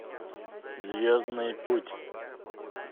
звездный путь